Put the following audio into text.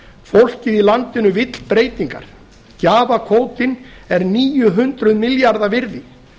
fólkið í landinu vill breytingar gjafakvótinn er níu hundruð milljarða króna virði